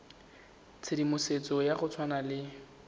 tshedimosetso ya go tshwana le